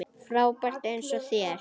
Frábær eins og þér.